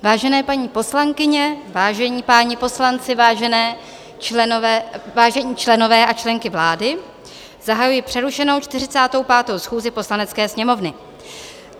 Vážené paní poslankyně, vážení páni poslanci, vážení členové a členky vlády, zahajuji přerušenou 45. schůzi Poslanecké sněmovny.